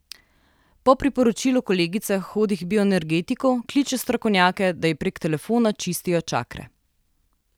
Po priporočilu kolegice hodi k bioenergetiku, kliče strokovnjake, da ji prek telefona čistijo čakre.